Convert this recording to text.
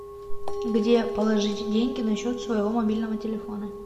где положить деньги на счет своего мобильного телефона